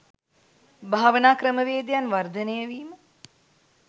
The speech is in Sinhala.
භාවනා ක්‍රමවේදයන් වර්ධනය වීම